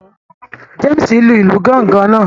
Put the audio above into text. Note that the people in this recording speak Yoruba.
James lu ilu Gángan náà